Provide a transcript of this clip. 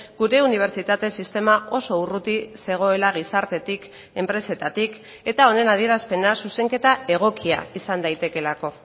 gure unibertsitate sistema oso urruti zegoela gizartetik enpresetatik eta honen adierazpena zuzenketa egokia izan daitekelako